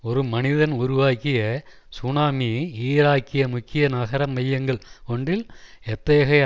ஒரு மனிதன் உருவாக்கிய சுனாமி ஈராக்கிய முக்கிய நகர மையங்கள் ஒன்றில் எத்தகைய